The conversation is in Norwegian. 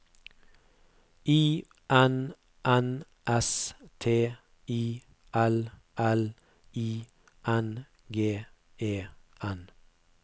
I N N S T I L L I N G E N